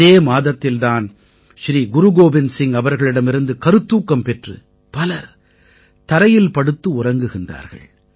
இதே மாதத்தில் தான் ஸ்ரீ குரு கோவிந்த சிங் அவர்களிடமிருந்து கருத்தூக்கம் பெற்று பலர் தரையில் படுத்து உறங்குகிறார்கள்